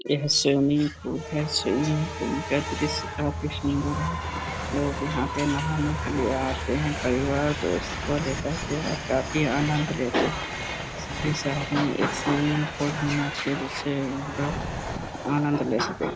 यह swimming pool है। Swimming pool का दृश्य काफी सुंदर है। लोग यहाँ पे नहाने के लिए आते हैं। परिवार दोस्त को ले करके और काफी आनंद लेते हैं। सभी शहर में एक स्विमिंग पूल होना चाहिए जिससे हमलोग आनंद ले सकें।